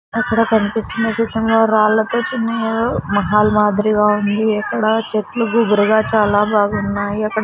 అక్కడ కనిపిస్తున్న చిత్రంలో రాల్లతో చూనియరు మహల్ మాదిరిగా ఉంది అక్కడ చెట్లు గుబురుగా చాలా బాగున్నాయి అక్కడ --